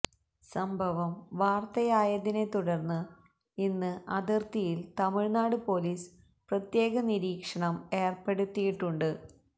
സംഭവം വാര്ത്തയായതിനെ തുടര്ന്ന് ഇന്ന് അതിര്ത്തിയില് തമിഴ്നാട് പോലീസ് പ്രത്യേക നിരീക്ഷണം ഏര്പ്പെടുത്തിയിട്ടുണ്ട്